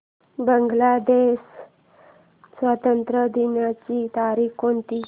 बांग्लादेश स्वातंत्र्य दिनाची तारीख कोणती